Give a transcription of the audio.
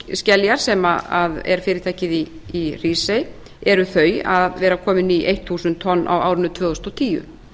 norðurskeljar sem er fyrirtækið í hrísey eru þau að vera komin í þúsund tonn á árin tvö þúsund og tíu